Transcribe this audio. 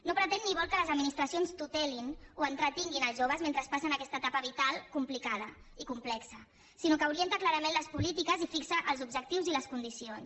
no pretén ni vol que les administracions tutelin o entretinguin els joves mentre passen aquesta etapa vital complicada i complexa sinó que orienta clarament les polítiques i fixa els objectius i les condicions